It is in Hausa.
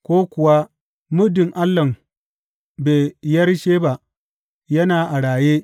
ko kuwa, Muddin allahn Beyersheba yana a raye,’